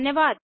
धन्यवाद